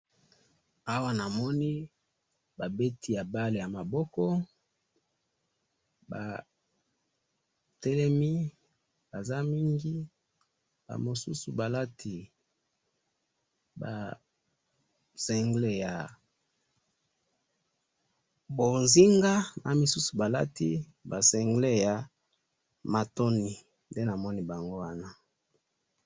awa namoni babeti ya ball ya maboko batelemi baza mingi ba mosusu balati single ya mbonzinga na misusu balati ba single motoni.